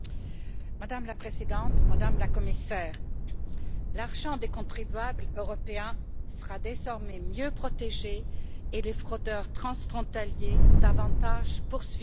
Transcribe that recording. Madame la Présidente, Madame la Commissaire, l'argent des contribuables européens sera désormais mieux protégé, et les fraudeurs transfrontaliers davantage poursuivis.